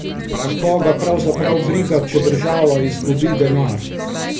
A koga pravzaprav briga, če država izgubi denar?